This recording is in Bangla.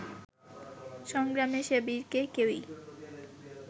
সংগ্রামে সে বীরকে কেহই